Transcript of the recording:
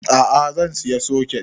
A'a zan saya soket